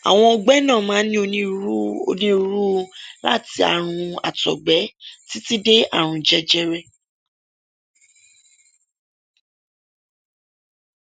àwọn ọgbẹ náà máa ń ní onírúurú onírúurú láti àrùn àtọgbẹ títí dé àrùn jẹjẹrẹ